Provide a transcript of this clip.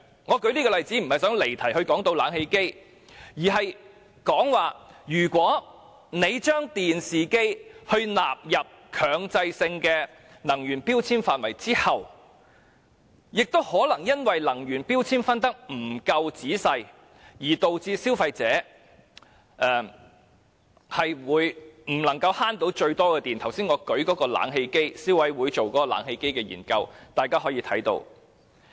我舉出這個例子並不是想離題討論冷氣機，而是當政府把電視機納入強制性標籤計劃後，可能會因能源標籤的分級不夠仔細，以致消費者未能節省最多電量，而這從我剛才舉出有關消委會就冷氣機進行的研究的例子便可以看到。